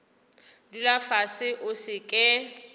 dula fase o se ke